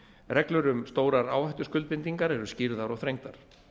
reglur um stórar áhættuskuldbindingar eru skýrðar og þrengdar